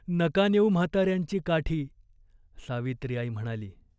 नका नेऊ म्हातार्यांची काठी !" सावित्रीआई म्हणाली.